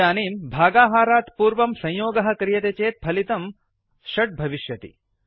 इदानीं भागाहारात् पूर्वं संयोगः क्रियते चेत् फलितं 6 भविष्यति